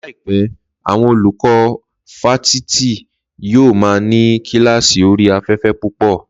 Láìpẹ́, àwọn olùkọ́ fáfitì yóò maa ni kílààsì orí afẹ́fẹ́ púpọ̀